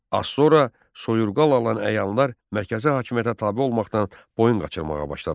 Az sonra soyurqal alan əyanlar mərkəzi hakimiyyətə tabe olmaqdan boyun qaçırmağa başladılar.